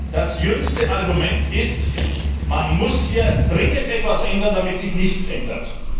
Das jüngste Argument ist Man muss hier dringend etwas ändern, damit sich nichts ändert.